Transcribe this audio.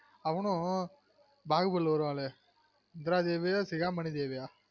அவனும் பாகுபலில வருவாங்கலே இந்த்ராதேவிய சிகாமனிதேவிய